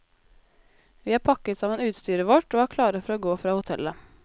Vi har pakket sammen utstyret vårt, og er klare for å gå fra hotellet.